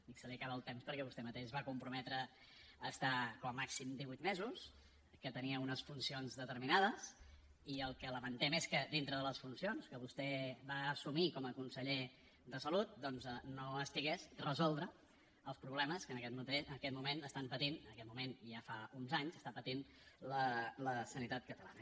dic se li acaba el temps perquè vostè mateix es va comprometre a estar com a màxim divuit mesos que tenia unes funcions determinades i el que lamentem és que dintre de les funcions que vostè va assumir com a conseller de salut doncs no estigués resoldre els problemes que en aquest moment pateix en aquest moment i ja fa uns anys la sanitat catalana